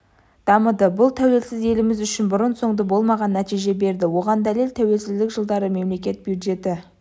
дамыды бұл тәуелсіз еліміз үшін бұрын-соңды болмаған нәтиже берді оған дәлел тәуелсіздік жылдары мемлекет бюджеті